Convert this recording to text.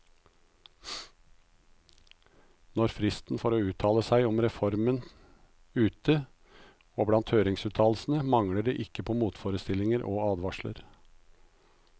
Nå er fristen for å uttale seg om reformen ute, og blant høringsuttalelsene mangler det ikke på motforestillinger og advarsler.